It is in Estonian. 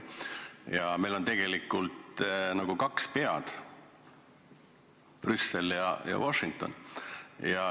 Ja meil on nagu kaks pead: Brüssel ja Washington.